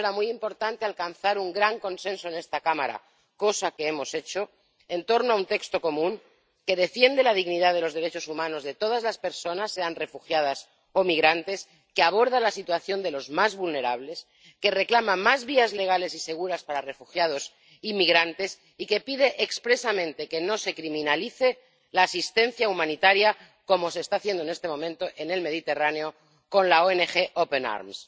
Para eso era muy importante alcanzar un gran consenso en esta Cámara, cosa que hemos hecho en torno a un texto común que defiende la dignidad de los derechos humanos de todas las personas sean refugiadas o migrantes que aborda la situación de los más vulnerables, que reclama más vías legales y seguras para refugiados y migrantes y que pide expresamente que no se criminalice la asistencia humanitaria, como se está haciendo en este momento en el Mediterráneo con la ONG Open Arms.